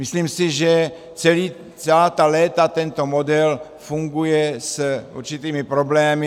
Myslím si, že celá ta léta tento model funguje s určitými problémy.